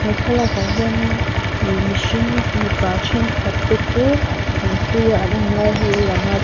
he thlalak ah hian in ih mihring mipa thenkhat te chu tui a an awm lai hi a lang a ti--